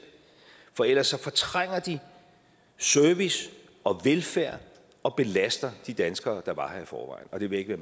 for ellers fortrænger de service og velfærd og belaster de danskere der var her i forvejen og det vil jeg